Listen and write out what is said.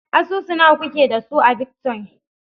Asusu nawa kuke da su a bitcoin?